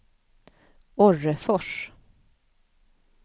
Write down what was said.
Orrefors